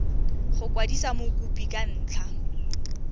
go kwadisa mokopi ka ntlha